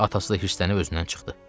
Atası da hirslənib özündən çıxdı.